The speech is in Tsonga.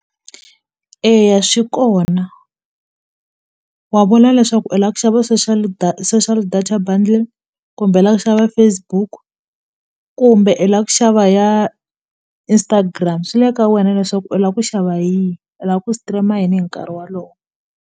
Eya swi kona wa vula leswaku i lava ku xava social social data bundle kumbe la ku xava Facebook kumbe i la ku xava ya Instagram swi le ka wena leswaku u la ku xava yihi u la ku stream-a yini hi nkarhi wolowo.